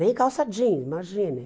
Nem calça jeans, imagine.